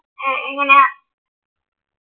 ഏർ എങ്ങനെ യാ?